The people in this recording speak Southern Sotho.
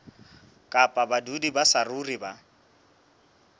kapa badudi ba saruri ba